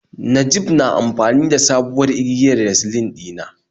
Najib na amfani da da sabuwar igiyar recline dina